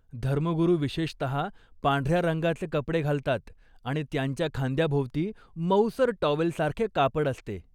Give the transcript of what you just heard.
धर्मगुरू विशेषतः पांढऱ्या रंगाचे कपडे घालतात आणि त्यांच्या खांद्याभोवती मऊसर टॉवेलसारखे कापड असते.